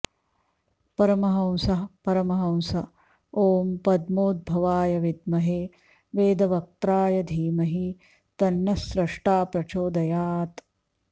परमहंसः परमहंस ॐ पद्मोद्भवाय विद्महे वेदवक्त्राय धीमहि तन्नः स्रष्टा प्रचोदयात्